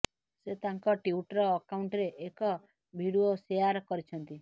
ସେ ତାଙ୍କ ଟ୍ୱିଟର୍ ଆକାଉଣ୍ଟରେ ଏକ ଭିଡିଓ ଶେଆର୍ କରିଛନ୍ତି